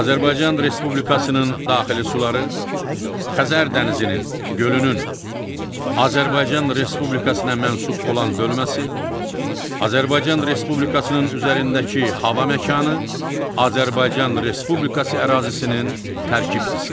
Azərbaycan Respublikasının daxili suları, Xəzər dənizinin gölünün, Azərbaycan Respublikasına mənsub olan bölməsi, Azərbaycan Respublikasının üzərindəki hava məkanı, Azərbaycan Respublikası ərazisinin tərkib hissəsidir.